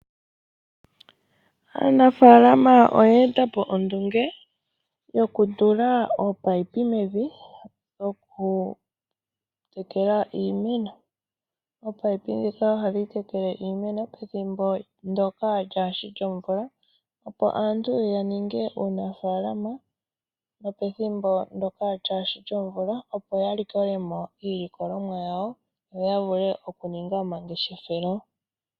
Aanafaalama oya eta po ondunge yokutula ominino mevi dhokutekela iimeno. Ominino dhika ohadhi tekele iimeno pethimbo ndoka lyaashi lyomvula opo aantu yaninge uunafaalama nopethimbo ndoka lyaashi lyomvula opo yalikolemo iilikolomwa yawo yo yavule okuninga omangeshefelo.